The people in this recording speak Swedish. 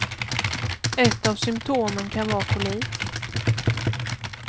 Ett av symtomen kan vara kolik.